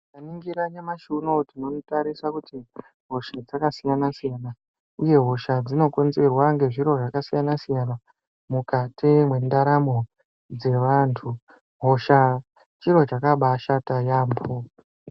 Tikaningira nyamashi unowu tinotarisa kuti hosha dzakasiyana siyana uye hosha dzinokonzerwa ngezviro zvakasiyana siyana mukati mwendaramo yevantu hosha chiro chakabaashata yaampo.